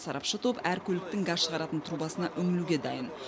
сарапшы топ әр көліктің газ шығаратын трубасына үңілуге дайын